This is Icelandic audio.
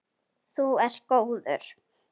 Þú ert góður.